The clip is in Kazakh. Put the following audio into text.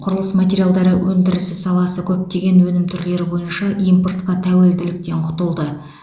құрылыс материалдары өндірісі саласы көптеген өнім түрлері бойынша импортқа тәуелділіктен құтылды